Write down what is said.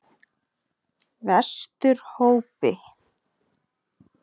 Vesturhópi